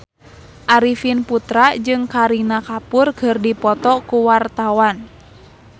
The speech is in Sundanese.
Arifin Putra jeung Kareena Kapoor keur dipoto ku wartawan